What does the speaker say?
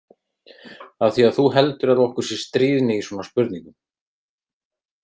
Af því að þú heldur að okkur sé stríðni í svona spurningum.